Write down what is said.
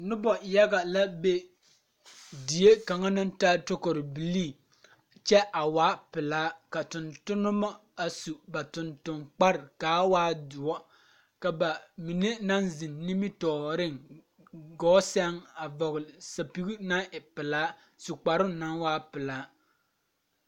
Nobɔ yaga la be die kaŋa naŋ taa tokorebilii kyɛ a waa pelaa ka tontonemo a su ba tonton kpare kaa waa doɔ ka ba mine naŋ zeŋ nimitooreŋ gɔɔ sɛŋ a vɔgle sɛpige naŋ e pelaa su kparoŋ naŋ waa pelaa.